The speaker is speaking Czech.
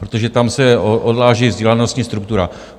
Protože tam se odráží vzdělanostní struktura.